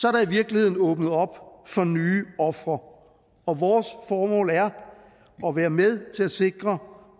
er der i virkeligheden åbnet op for nye ofre og vores formål er at være med til at sikre